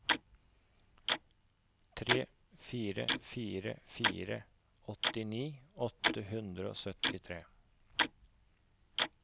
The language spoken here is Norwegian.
tre fire fire fire åttini åtte hundre og syttitre